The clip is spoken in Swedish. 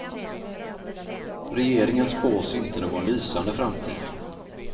Regeringen spås inte någon lysande framtid.